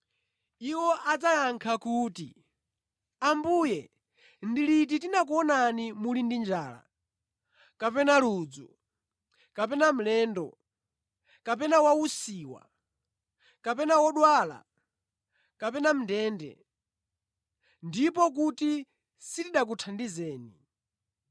“Iwo adzayankha kuti, ‘Ambuye ndi liti tinakuonani muli ndi njala kapena ludzu kapena mlendo kapena wausiwa kapena wodwala kapena mʼndende, ndipo kuti sitinakuthandizeni?’